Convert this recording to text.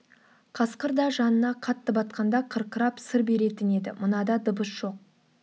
қасқыр да жанына қатты батқанда қырқырап сыр беретін еді мынада дыбыс жоқ